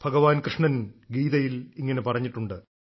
ഭഗവാൻ കൃഷ്ണൻ ഗീതയിൽ ഇങ്ങനെ പറഞ്ഞിട്ടുണ്ട്